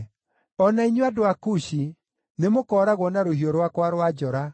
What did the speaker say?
“O na inyuĩ, andũ a Kushi, nĩmũkooragwo na rũhiũ rwakwa rwa njora.”